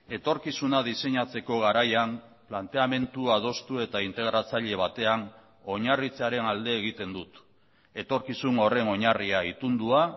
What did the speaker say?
etorkizuna diseinatzeko garaian planteamendu adostu eta integratzaile batean oinarritzearen alde egiten dut etorkizun horren oinarria itundua